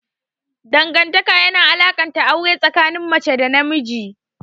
Dangantaka yana alakanta aure tsakanin mace da namiji.